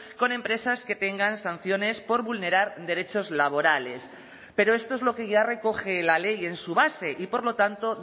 con empresas que tengan sanciones por vulnerar derechos laborales pero esto es lo que ya recoge la ley en su base y por lo tanto